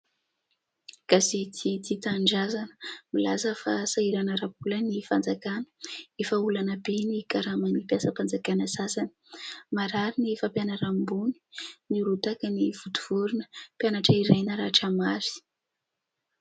Gazety Tia Tanindrazana milaza fa sahirana ara-bola ny fanjakana, efa olana be ny karaman'ny mpiasam-panjakana sasany, marary ny fampianarana ambony, nirotaka i vontovorina, mpianatra iray naratra mafy.